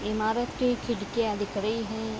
इमारत की खिड़कियाँ दिख रही है ।